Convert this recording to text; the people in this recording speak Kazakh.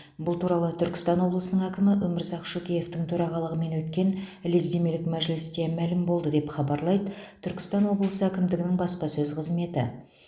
бұл туралы түркістан облысының әкімі өмірзақ шөкеевтің төрағалығымен өткен лездемелік мәжілісте мәлім болды деп хабарлайды түркістан облысы әкімдігінің баспасөз қызметі